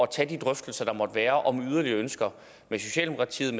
tage de drøftelser der måtte være om yderligere ønsker med socialdemokratiet